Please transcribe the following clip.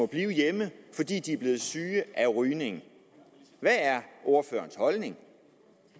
blive hjemme fordi de er blevet syge af rygning hvad er ordførerens holdning